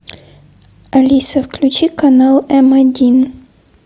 алиса включи канал м один